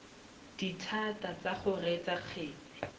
dithata tsa go reetsa kgetse